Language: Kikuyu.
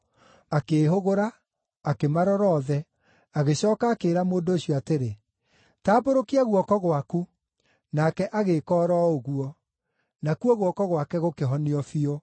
Akĩĩhũgũra, akĩmarora othe, agĩcooka akĩĩra mũndũ ũcio atĩrĩ, “Tambũrũkia guoko gwaku.” Nake agĩĩka o ro ũguo; nakuo guoko gwake gũkĩhonio biũ.